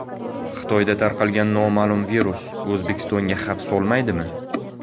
Xitoyda tarqalgan noma’lum virus O‘zbekistonga xavf solmaydimi?